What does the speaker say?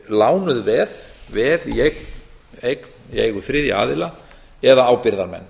lánuð veð veð í eign í eigu þriðja aðila eða ábyrgðarmenn